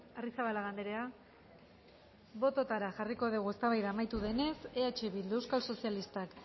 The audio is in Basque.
arrizabalaga andrea bototara jarriko dugu eztabaida amaitu denez eh bildu euskal sozialistak